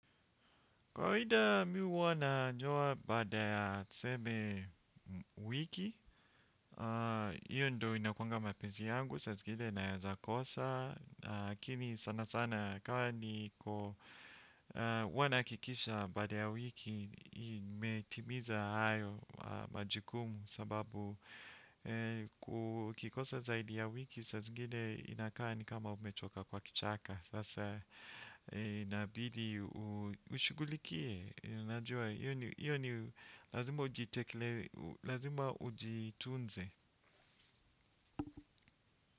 Kawaida mimi huwa na toa baada ya tuseme wiki, iyo ndio inakuwanga mapenzi yangu sa zingine naweza kosa. Lkini sana sana kwa ni kwa huwa na hakikisha baada ya wiki nimetimiza hayo majukumu kwa sababu ikikosa zaidi ya wiki, saa zingine inakaa ni kama umetoka kwa kichaka. Sasa inabidi ushughulikie najua hiyo ni lazima ujitekelewe. Lazima ujituunze.